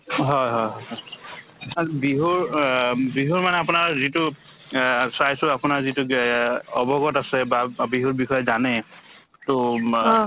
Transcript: হয় হয় হয় তাত বিহুৰ অ বিহুৰ মানে আপোনাৰ যিটো আ চাইছো আপোনাৰ যিটো গে অৱগত আছে বা বিহুৰ বিষয়ে জানে to মা